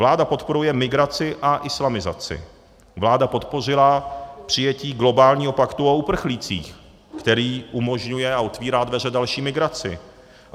Vláda podporuje migraci a islamizaci, vláda podpořila přijetí globálního paktu o uprchlících, který umožňuje a otevírá dveře další migraci.